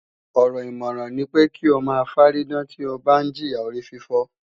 Ọ̀rọ̀ ìmọ̀ràn ní pé kí o máa fárídán tí o ń bá jìya orífífọ́